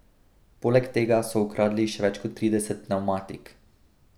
Poleg tega so ukradli še več kot trideset pnevmatik.